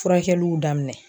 Furakɛliw daminɛ.